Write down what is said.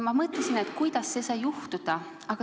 Ma mõtlesin, kuidas see sai juhtuda.